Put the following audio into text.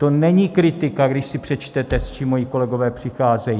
To není kritika, když si přečtete, s čím moji kolegové přicházejí.